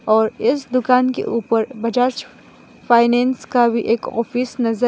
और इस दुकान के ऊपर बजाज फाइनेंस का भी एक ऑफिस नजर --